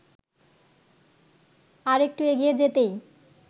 আরেকটু এগিয়ে যেতেই